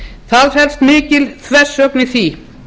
það felst mikil þversögn í því